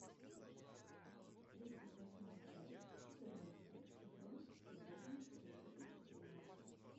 тридцать восьмая часть четырнадцатый сезон любовницы две тысячи тринадцать